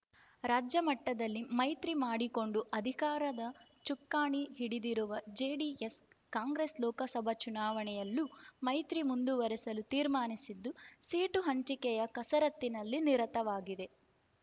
ರಾಜ್ಯ ಮಟ್ಟದಲ್ಲಿ ಮೈತ್ರಿ ಮಾಡಿಕೊಂಡು ಅಧಿಕಾರದ ಚುಕ್ಕಾಣಿ ಹಿಡಿದಿರುವ ಜೆಡಿಎಸ್ ಕಾಂಗ್ರೆಸ್ ಲೋಕಸಭಾ ಚುನಾವಣೆಯಲ್ಲೂ ಮೈತ್ರಿ ಮುಂದುವರೆಸಲು ತೀರ್ಮಾನಿಸಿದ್ದು ಸೀಟು ಹಂಚಿಕೆಯ ಕಸರತ್ತಿನಲ್ಲಿ ನಿರತವಾಗಿದೆ